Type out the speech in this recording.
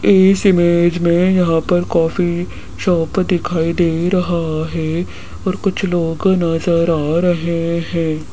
इस इमेज में यहां पर कॉफी शॉप दिखाई दे रहा है और कुछ लोग नजर आ रहे हैं।